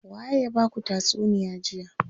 Waye ya baku tatsuniya jiya.